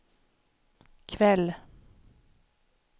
kväll